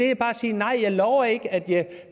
jeg bare sige nej jeg lover ikke at jeg